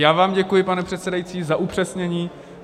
Já vám děkuji, pane předsedající, za upřesnění.